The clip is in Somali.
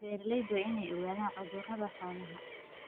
Beeralaydu waa inay ogaadaan cudurrada xoolaha.